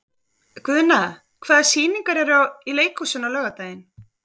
Guðna, hvaða sýningar eru í leikhúsinu á laugardaginn?